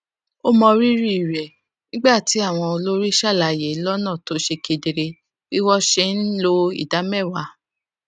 ó mọrírì rẹ nígbà tí àwọn olórí ṣàlàyé lónà tó ṣe kedere bí wón ṣe ń lo ìdá méwàá